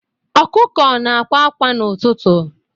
Ọkụkụ na-akwa akwa n'ụtụtụ.